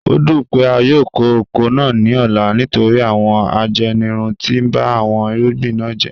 O dun pe a yoo ko oko naa ni ọla nitori awọn ajenirun ti ba awọn irugbin na jẹ